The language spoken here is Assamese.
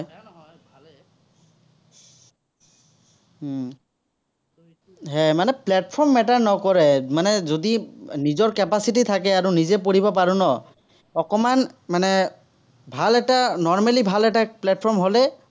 উম হম মানে platform matter নকৰে মানে যদি নিজৰ capacity থাকে আৰু নিজে পঢ়িব পাৰে ন, অকণমান মানে, ভাল এটা normally ভাল এটা platform হ'লে